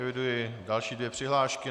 Eviduji další dvě přihlášky.